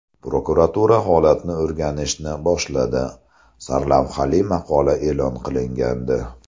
Prokuratura holatni o‘rganishni boshladi” sarlavhali maqola e’lon qilingandi .